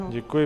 Děkuji.